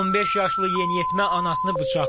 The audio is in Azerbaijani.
15 yaşlı yeniyetmə anasını bıçaqlayıb.